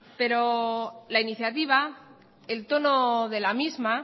pero la iniciativa el tono de la misma